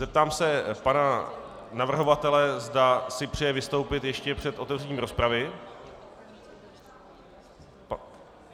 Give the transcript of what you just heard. Zeptám se pana navrhovatele, zda si přeje vystoupit ještě před otevřením rozpravy.